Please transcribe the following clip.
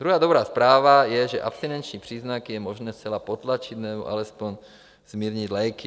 Druhá dobrá zpráva je, že abstinenční příznaky je možné zcela potlačit nebo alespoň zmírnit léky.